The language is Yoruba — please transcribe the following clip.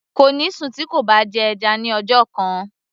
kò ní sùn tí kò bá jẹ́ ẹja ní ọjọ́ kan